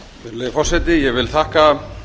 virðulegi forseti ég þakka